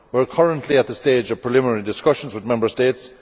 We are currently at the stage of preliminary discussions with Member States.